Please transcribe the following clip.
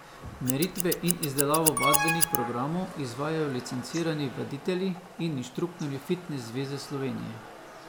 Meritve in izdelavo vadbenih programov izvajajo licencirani vaditelji in inštruktorji Fitnes zveze Slovenije.